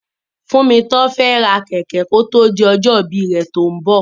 Tófúnmi fẹ́ ra kẹ̀kẹ́ kó tó di ọjọ́ ìbí rẹ̀ tó ń bọ̀.